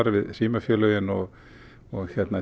við símafélögin og og